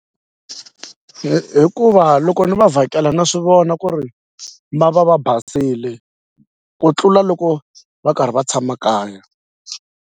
Hi hikuva loko ni va vhakela na swi vona ku ri va va va basile ku tlula loko va karhi va tshama kaya.